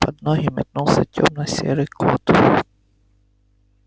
под ноги метнулся тёмно-серый кот